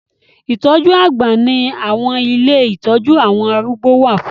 Ìtọ́jú àgbà ni àwọn ilé ìtọ́jú àwọn arúgbó wà fún